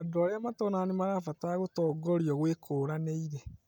Andũ arĩa matonaga nĩmarabatara gũtongorio gwĩkũranĩire